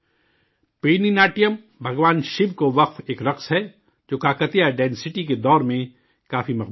پیرنی ناٹیم، بھگوان شیو کو پیش کیا گیا ایک رقص ہے، جو کاکتیہ سلطنت کے دور میں کافی مقبول تھا